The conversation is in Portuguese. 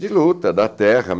de luta, da terra.